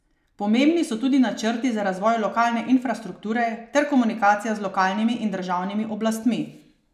Pomembni so tudi načrti za razvoj lokalne infrastrukture ter komunikacija z lokalnimi in državnimi oblastmi.